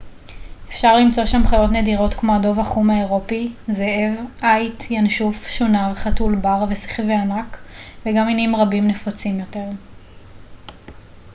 אפשר למצוא שם חיות נדירות כמו הדוב החום האירופי זאב עיט ינשוף שונר חתול בר ושכווי ענק וגם מינים רבים נפוצים יותר